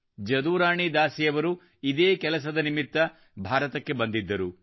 ಜದುರಾಣಿ ದಾಸಿ ಅವರು ಇದೇ ಕೆಲಸದ ನಿಮಿತ್ತ ಭಾರತಕ್ಕೆ ಬಂದಿದ್ದರು